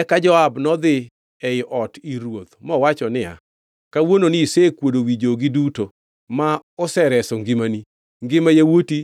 Eka Joab nodhi ei ot ir ruoth mowacho niya, “Kawuononi isekuodo wi jogi duto, ma osereso ngimani, ngima yawuoti